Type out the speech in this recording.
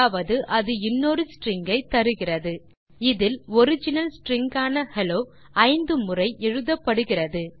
அதாவது அது இன்னொரு ஸ்ட்ரிங் ஐ தருகிறது இதில் ஒரிஜினல் ஸ்ட்ரிங் ஆன ஹெல்லோ ஐந்து முறை எழுதப்படுகிறது